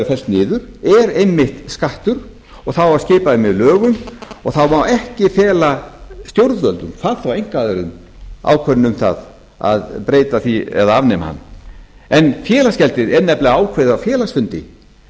fellt niður er einmitt skattur og það á að skipa því með lögum og það má ekki fela stjórnvöldum hvað þá einkaaðilum ákvörðun um það að breyta því eða afnema hann félagsgjaldið er nefnilega ákveðið á félagsfundi